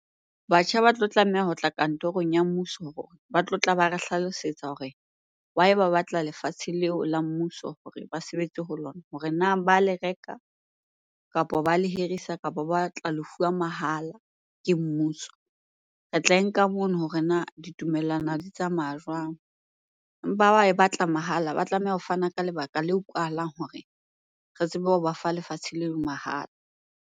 Batjha ba tlo tlameha ho tla kantorong ya mmuso hore ba tlotla ba re hlalosetsa hore why ba batla lefatshe leo la mmuso hore ba sebetse ho lona. Hore na ba le reka, kapa ba le hirisa, kapa ba tla lefuwang mahala ke mmuso? Re tla e nka mono hore na ditumellano di tsamaya jwang? Empa ha ba e batla mahala, ba tlameha ho fana ka lebaka le utlwahalang hore re tsebe ho ba fa lefatshe leo mahala.